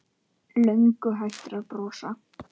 Löngu hættur að brosa.